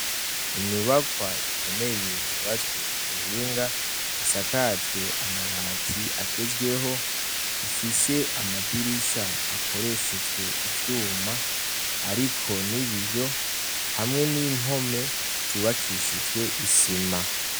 Inyubakwa ikomeye yubatswe ku buhinga isakajwe amabati agezweho; ifise amadirisha akoreshejwe ivyuma, ariko nibiyo hamwe n'impome zubakishijwe isima.